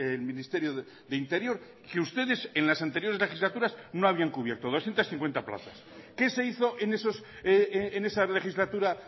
el ministerio de interior que ustedes en las anteriores legislaturas no habían cubierto doscientos cincuenta plazas qué se hizo en esa legislatura